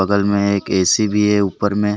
बगल ऊपर में एक ए_सी भी है ऊपर में।